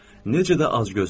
Necə də acgözdürlər.